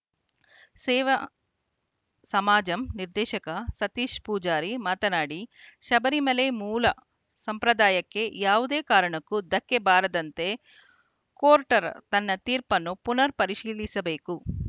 ಸೇವಾ ಸಮಾಜಂ ನಿರ್ದೇಶಕ ಸತೀಶ ಪೂಜಾರಿ ಮಾತನಾಡಿ ಶಬರಿಮಲೆ ಮೂಲ ಸಂಪ್ರದಾಯಕ್ಕೆ ಯಾವುದೇ ಕಾರಣಕ್ಕೂ ಧಕ್ಕೆ ಬಾರದಂತೆ ಕೋಟ್‌ರ್ ತನ್ನ ತೀರ್ಪುನ್ನು ಪುನರ್‌ ಪರಿಶೀಲಿಸಬೇಕು